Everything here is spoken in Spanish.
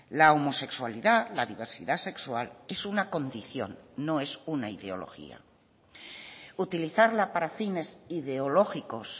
la homosexualidad la diversidad sexual es una condición no es una ideología utilizarla para fines ideológicos